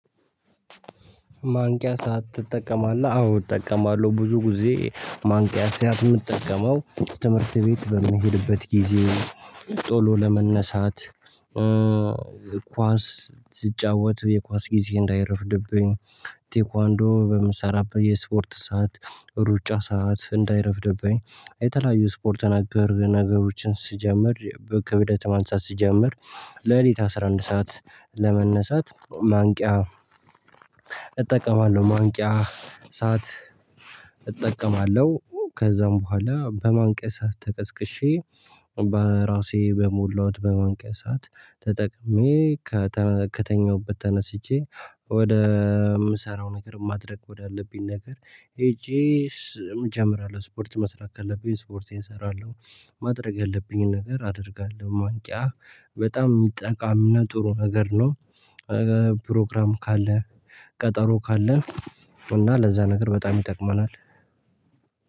ማንቂያ ሰዓት ትጠቀማለህ? አዎ እጠቀማለሁ። ብዙ ጊዜ ማንቂያ ሰዓት የምትጠቀመው ትምህርት ቤት በምሄድበት ጊዜ። ቶሎ ለመነሳት ኳስ ስጫወት የኳስ ጊዜ እንዳይረፍድብኝ። ቴኳንዶ በምሰራበት የስፖርት ሰዓት ሩጫ ሰዓት እንዳይረፍድብኝ። የተለያዩ ስፖርት ነገር ነገሮችን ስጀምር ከብደት ማንሳት ስጀምር። ሌሊት አስራ አንድ ሰዓት ለመነሳት ማንቂያ ማንቂያ ሰዓት እጠቀማለሁ። ከዛም በኋላ በማንቂያ ተቀስቅሼ በራሴ በሞላሁት በማንቂያ ሰዓትተጠቅሜ። ከተኛሁበት ተነስቼ ወደ የምሰራው ነገር ማድረግ ወዳለብኝ ነገር ሄጄ እጀምራለሁ። ስፖርት መስራት ካለብኝ ስፖርቴን እሰራለሁ። ማድረግ ያለብኝን ነገር አደርጋለሁ። ማንቂያ በጣም ጠቃምና ጥሩ ነገር ነው። ፕሮግራም ካለ ቀጠሮ ካለን እና ለዛ ነገር በጣም ይጠቅመናል።